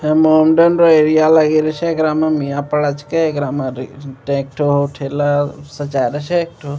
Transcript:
इ modern area लगी रहे छै एकरा में मियां पड़ा छींके एकरा में रि ट्रैक्टर ठेला सब जा रहे छै एकठो --